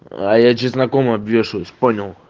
а я чесноком обвешаюсь понял